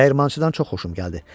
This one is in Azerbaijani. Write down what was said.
Dəyirmançıdan çox xoşum gəldi.